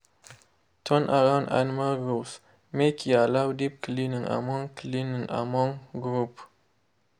turnaround animal groups make e allow deep cleaning among cleaning among group.